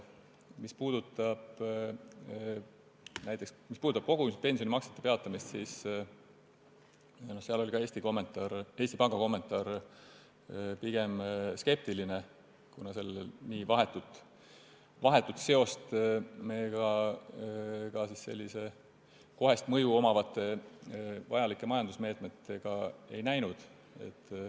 Mis puudutab kogumispensioni maksete peatamist, siis selleski asjas oli ka Eesti Panga kommentaar pigem skeptiline, kuna seal me nii vahetut seost kohest mõju omavate vajalike majandusmeetmetega ei näinud.